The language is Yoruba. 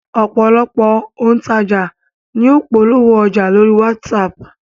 Ọ̀pọ̀lọpọ̀ òǹtajà ní ń polówó ọjà lórí WhatsApp